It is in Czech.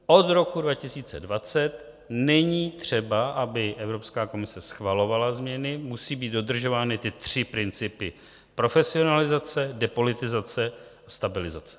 Od roku 2020 není třeba, aby Evropská komise schvalovala změny, musí být dodržovány ty tři principy - profesionalizace, depolitizace a stabilizace.